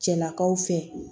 Cɛlakaw fɛ